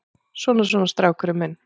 Svona, svona, strákurinn minn.